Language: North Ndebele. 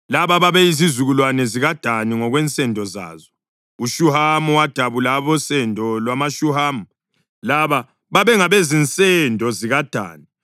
Laba babeyizizukulwane zikaDani ngokwensendo zazo: uShuhamu wadabula abosendo lwamaShuhamu. Laba babengabezinsendo zikaDani: